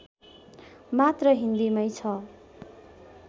मात्र हिन्दीमै छ